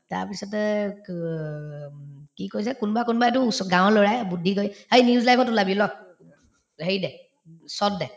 তাৰপিছতে ক উম কি কৰিছে কোনবা‍ কোনবাই to ওচ গাঁৱৰ লৰায়ে বুদ্ধি কৰি অ news live ত ওলাবি ল হেৰি দিয়ে দে